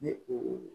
Ni u